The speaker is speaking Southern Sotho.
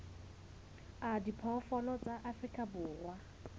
a diphoofolo tsa afrika borwa